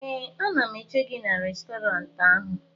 ee, a na m eche gị n'Restọrantị ahụ